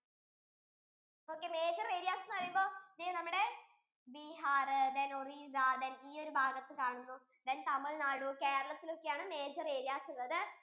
major areas എന്ന് പറയുമ്പോ നമ്മുടെ Bihar, Bellori, Rabel ഈ ഒരു ഭാഗത്തു കാണുന്നു then Tamil Nadu, Kerala ത്തിൽ ഒക്കെ ആണ് major areas ഉള്ളത്